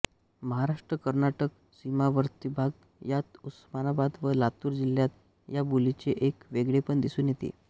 महाराष्ट्र कर्नाटक सिमावार्तीभाग यात उस्मानाबाद व लातूर जिल्ह्यात या बोलीचे एक वेगळेपण दिसून येते